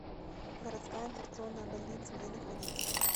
городская инфекционная больница где находится